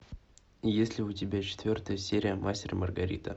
есть ли у тебя четвертая серия мастер и маргарита